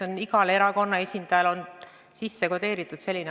See on igale erakonna esindajale lihtsalt sisse kodeeritud.